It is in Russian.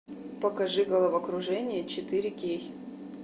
покажи головокружение четыре кей